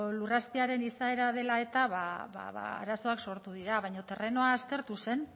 lurrazpiaren izaera dela eta ba arazoak sortu dira baina terrenoa aztertu zen